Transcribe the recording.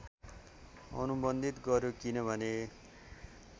अनुबन्धित गर्‍यो किनभने